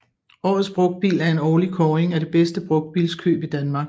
Årets Brugtbil er en årlig kåring af det bedste brugtbilskøb i Danmark